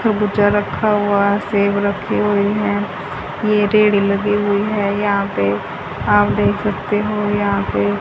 खरबूजा रखा हुआ है सेब रखे हुए हैं ये रेड़ी लगी हुई है यहां पे आप देख सकते हो यहां पे--